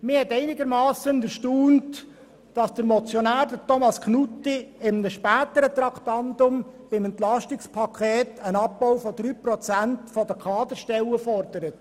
Es hat mich einigermassen erstaunt, dass der Motionär Grossrat Knutti bei einem späteren Traktandum, dem Entlastungspaket, einen Abbau von 3 Prozent der Kaderstellen fordert.